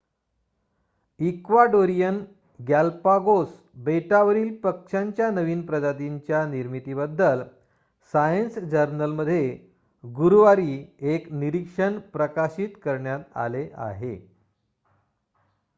Ecuadorian Galapagos बेटावरील पक्ष्यांच्या नवीन प्रजातींच्या निर्मितीबद्दल सायन्स जर्नलमध्ये गुरुवारी एक निरीक्षण प्रकाशित करण्यात आले आहे